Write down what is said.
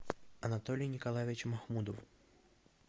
анатолий николаевич махмудов